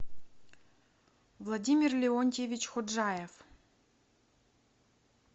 владимир леонтьевич ходжаев